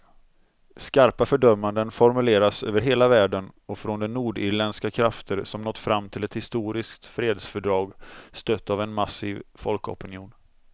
Skarpa fördömanden formuleras över hela världen och från de nordirländska krafter som nått fram till ett historiskt fredsfördrag, stött av en massiv folkopinion.